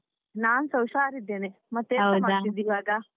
ನಾನ್ ಸಾ ಹುಷಾರ್ ಇದ್ದೇನೆ ಎಂತ ಮಾಡ್ತಿದ್ದಿ ಇವಾಗ?